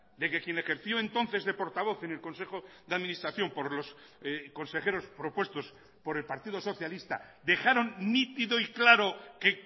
de que quien ejerció entonces de portavoz en el consejo de administración por los consejeros propuestos por el partido socialista dejaron nítido y claro que